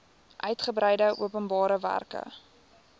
uitgebreide openbare werke